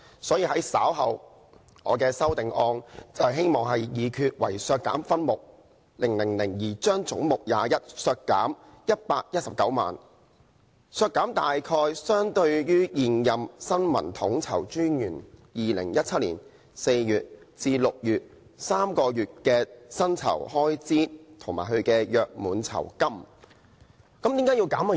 所以，我稍後的修正案希望議決"為削減分目000而將總目21削減119萬元，削減大約相當於現任新聞統籌專員2017年4月至6月的3個月薪酬開支預算及其約滿酬金"。